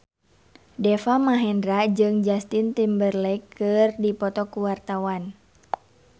Deva Mahendra jeung Justin Timberlake keur dipoto ku wartawan